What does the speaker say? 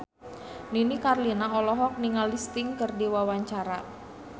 Nini Carlina olohok ningali Sting keur diwawancara